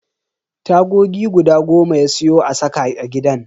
Tagogi guda goma ya siyo a saka a gidan.